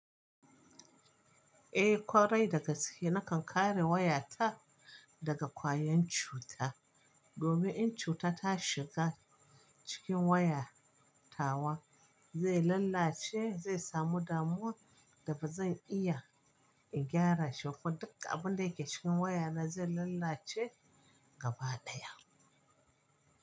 Eh kwarai dagaske na kan kare waya ta daga kwayan cuta. Domin in cuta ta shiga cikin waya tawa, zai lallace, zai samu damuwa da ba zan iya in gyara shi ba. Duk abin da yake cikin waya na zai lallace gaba daya.